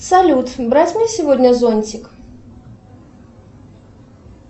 салют брать мне сегодня зонтик